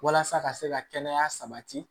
Walasa ka se ka kɛnɛya sabati